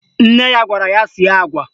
Nne ya gwara ya sie agwa